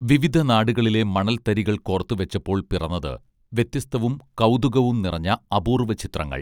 വിവിധ നാടുകളിലെ മണൽത്തരികൾ കോർത്തുവെച്ചപ്പോൾ പിറന്നത് വ്യത്യസ്തവും കൗതുകവും നിറഞ്ഞ അപൂർവ്വ ചിത്രങ്ങൾ